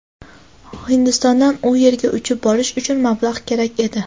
Hindistondan u yerga uchib borish uchun mablag‘ kerak edi.